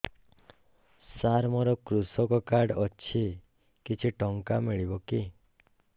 ସାର ମୋର୍ କୃଷକ କାର୍ଡ ଅଛି କିଛି ଟଙ୍କା ମିଳିବ କି